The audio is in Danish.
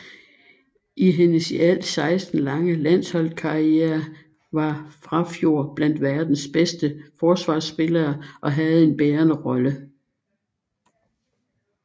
I hendes i alt 16 lange landsholdskarriere var Frafjord blandt verdens bedste forsvarspillere og havde en bærende rolle